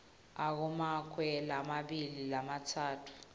akumakwe lamabili lamatsatfu